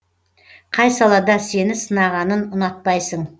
қай салада сені сынағанын ұнатпайсың